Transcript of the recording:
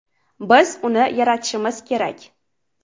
Biz uni yaratishimiz kerak.